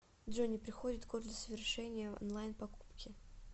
джой не приходит код для совершения онлайн покупки